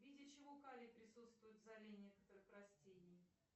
в виде чего калий присутствует в золе некоторых растений